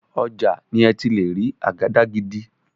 Ọjà ni ẹ ti lè rí àgàdàgídí.